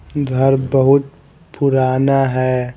घर बहुत पुराना है ।